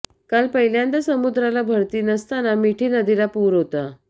काल पहिल्यांदा समुद्राला भरती नसताना मिठी नदीला पूर होता